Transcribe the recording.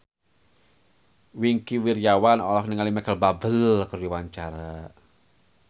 Wingky Wiryawan olohok ningali Micheal Bubble keur diwawancara